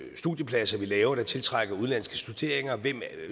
studiepladser vi laver der tiltrækker udenlandske